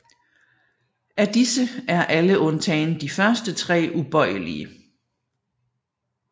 Af disse er alle undtagen de første tre ubøjelige